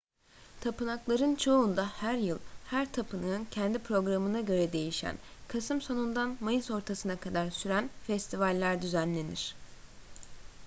tapınakların çoğunda her yıl her tapınağın kendi programına göre değişen kasım sonundan mayıs ortasına kadar süren festivaller düzenlenir